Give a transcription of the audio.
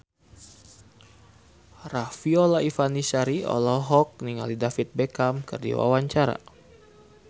Riafinola Ifani Sari olohok ningali David Beckham keur diwawancara